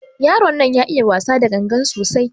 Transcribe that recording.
Yaron nan ya iya wasa da ganga sosai.